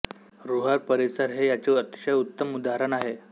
Ruhr परिसर हे याचे अतिशय उत्तम उदाहरण आहे